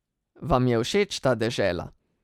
Vam je všeč ta dežela?